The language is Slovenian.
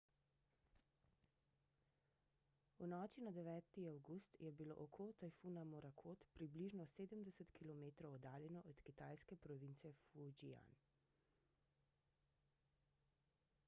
v noči na 9 avgust je bilo oko tajfuna morakot približno sedemdeset kilometrov oddaljeno od kitajske province fujian